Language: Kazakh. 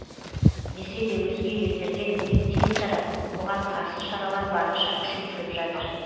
десе де өзге елдерде індет тез тарап оған қарсы шаралар барынша күшейтіліп жатыр